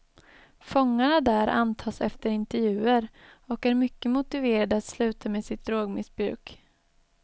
Fångarna där antas efter intervjuer och är mycket motiverade att sluta med sitt drogmissbruk.